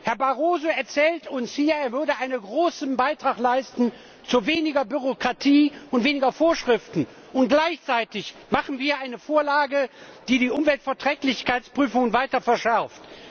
Herr Barroso erzählt uns hier, er würde einen großen Beitrag leisten zu weniger Bürokratie und weniger Vorschriften, und gleichzeitig machen wir eine Vorlage, die die Umweltverträglichkeitsprüfung weiter verschärft.